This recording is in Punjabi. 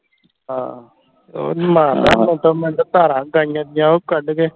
ਹਾਂ ਉਹ ਹਾਂ ਮਾਰਦਾ ਮਿੰਟੋਂ ਮਿੰਟ ਧਾਰਾਂ ਗਾਈਆਂ ਦੀਆਂ ਉਹ ਕੱਢ ਕੇ